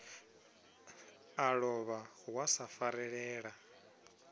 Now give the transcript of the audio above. a lovha wa sa farelela